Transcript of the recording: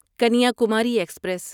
Kanyakumari express